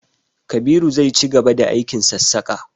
Kabiru zai cigaba da aikin sassaka.